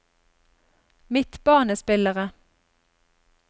midtbanespillere